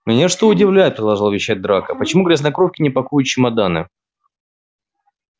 меня что удивляет продолжал вещать драко почему грязнокровки не пакуют чемоданы